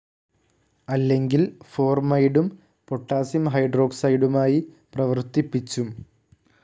അല്ലെങ്കിൽ ഫോർമൈഡും പൊട്ടാസിയം ഹൈഡ്രോഓക്സൈഡുമായി പ്രവർത്തിപ്പിച്ചും